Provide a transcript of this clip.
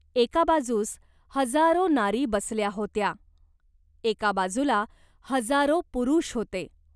एका बाजूस हजारो नारी बसल्या होत्या. एका बाजूला हजारो पुरुष होते.